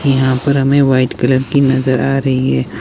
यहां पर हमें व्हाइट कलर की नजर आ रही है।